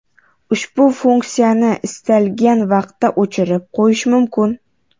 Ushbu funksiyani istalgan vaqtda o‘chirib qo‘yish mumkin.